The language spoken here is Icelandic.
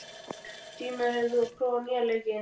Stína, hefur þú prófað nýja leikinn?